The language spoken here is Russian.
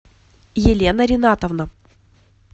елена ринатовна